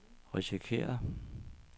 risikerer